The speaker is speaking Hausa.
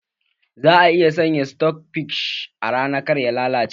Za a iya sanya sitok fish a rana kar ya lalace